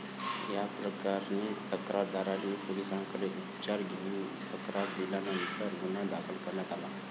या प्रकरणी तक्रारदारांनी पोलिसांकडे उपचार घेऊन तक्रार दिल्यानंतर गुन्हा दाखल करण्यात आला.